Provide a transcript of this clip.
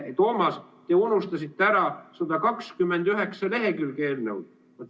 Toomas, te unustasite ära 129 lehekülge eelnõu.